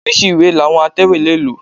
Oríṣi ìwé làwọn atẹ̀wé lè lò.